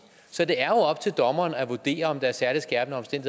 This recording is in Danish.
så det er jo op til dommeren at vurdere om der er særlig skærpende